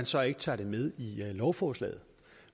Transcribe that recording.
så ikke tager det med i lovforslaget